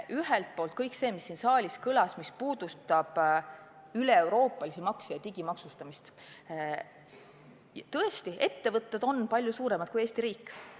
Ühelt poolt kõik see, mis siin saalis kõlas, mis puudutab üleeuroopalisi makse ja digimaksustamist – tõesti, ettevõtted on palju suuremad kui Eesti riik.